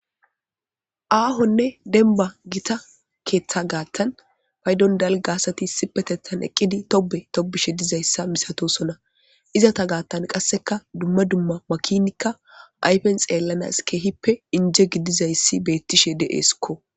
aahonne denba gita keeththa gaattan paydon dal gaasati sipetethan eqqidi tobe tobishe dizayssa misatosona izata gaattan qasseka dumma dumma makinikka ayfen xeellanas keehippe inje gidizayssi beettishe de7esikko